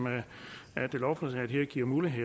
lovforslaget her giver mulighed